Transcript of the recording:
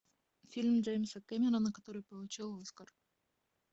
фильм джеймса кэмерона который получил оскар